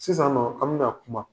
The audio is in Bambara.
Sisannɔɔ an bena kuma